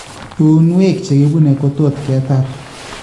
Uuynwek chekibune ko tot ketar